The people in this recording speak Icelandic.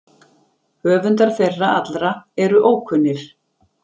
Höfundar þeirra allra eru ókunnir.